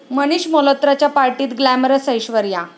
मनीष मल्होत्राच्या पार्टीत ग्लॅमरस ऐश्वर्या